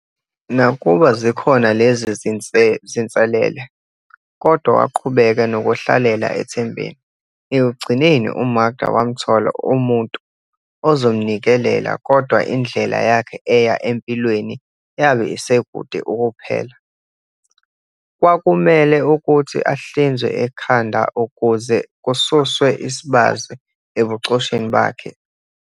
Nakuba zikhona lezi zinselele, kodwa waqhubeka nokuhlalela ethembeni. Ekugcineni u-Makda wamthola umuntu ozomnikelela, kodwa indlela yakhe eya empilweni yabe isekude ukuphela. Kwakumele ukuthi ahlinzwe ekhanda ukuze kususwe isibazi ebuchosheni bakhe.